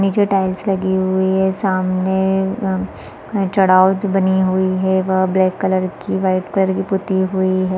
नीचे टाइल्स लगी हुई है सामने म एक चड़ाउत बनी हुई है वहाँ ब्लैक कलर की वाइट कलर की पुती हुई है।